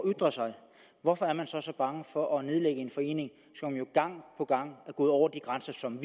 at ytre sig hvorfor er man så så bange for at nedlægge en forening som jo gang på gang er gået over de grænser som